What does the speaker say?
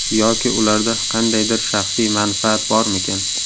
Yoki ularda qandaydir shaxsiy manfaat bormikan?